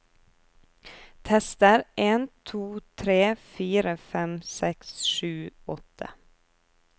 Tester en to tre fire fem seks sju åtte